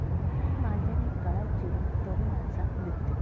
मांज्याने गळा चिरून तरुणाचा मृत्यू